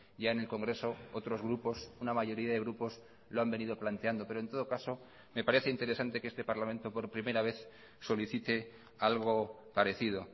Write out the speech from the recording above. ya en el congreso otros grupos una mayoría de grupos lo han venido planteando pero en todo caso me parece interesante que este parlamento por primera vez solicite algo parecido